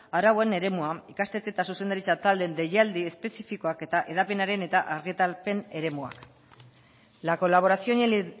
arauen eremua ikastetxe eta zuzendaritza taldeen deialdi espezifikoak eta hedapenaren eta argitalpen eremuak la colaboración y el